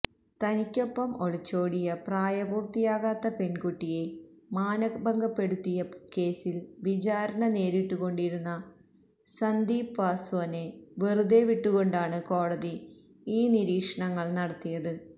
തനിക്കൊപ്പം ഒളിച്ചോടിയ പ്രായപൂര്ത്തിയാകാത്ത പെണ്കുട്ടിയെ മാനഭംഗപ്പെടുത്തിയെന്ന കേസില് വിചാരണ നേരിട്ടുകൊണ്ടിരുന്ന സന്ദീപ് പാസ്വാനെ വെറുതെവിട്ടുകൊണ്ടാണ് കോടതി ഈ നിരീക്ഷണങ്ങള് നടത്തിയത്